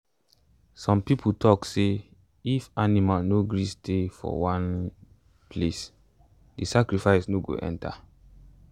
some people tok say if animal no gree stay for one um place the sacrifice no go enter.